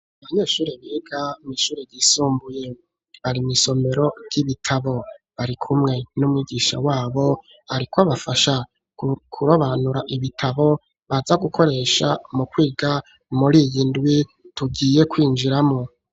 Abanyeshure biga mw'ishuri yisumbuye bari mw'isomero ry'ibitabo bari kumwe n'umwigisha wabo ariko bafasha kurobanura ibitabo baza gukoresha mu kwiga muri iyi ndwi tugiye kwinjiramwo.